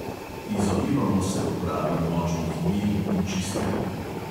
Izogibamo se uporabi močnih mil in čistil.